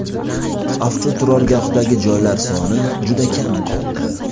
Avtoturargohdagi joylar soni juda kam qoldi.